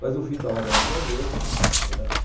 Mas, no fim, estava grávida mesmo. Eh